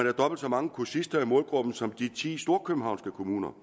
har dobbelt så mange kursister i målgruppen som i de ti storkøbenhavnske kommuner